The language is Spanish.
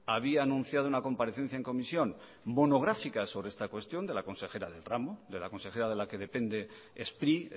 había anunciado una comparecencia en comisión monográfica sobre esta cuestión de la consejera del ramo de la consejera de la que depende spri